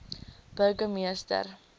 burgemeester zille mik